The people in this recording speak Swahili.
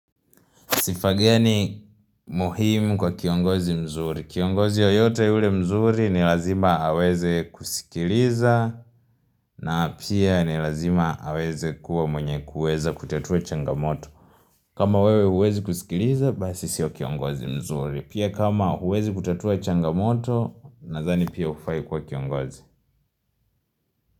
Sifa gani muhimu kwa kiongozi mzuri Kiongozi yeyote yule mzuri ni lazima aweze kusikiliza na pia ni lazima aweze kuwa mwenye kuweza kutatua changamoto kama wewe huwezi kusikiliza, basi sio kiongozi mzuri Pia kama huwezi kutatua changamoto, nadhani pia hufai kuwa kiongozi.